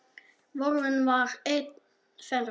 Þórður var einn þeirra.